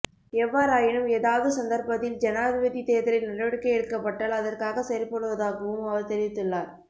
எவ்வாறாயினும் ஏதாவது சந்தர்ப்பத்தில் ஜனாதிபதி தேர்தலை நடவடிக்கை எடுக்கப்பட்டால் அதற்காக செயற்படுவதாகவும் அவர் தெரிவித்துள்ளார்